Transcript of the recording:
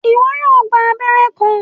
Iwọ yóò gbà abẹrẹ kan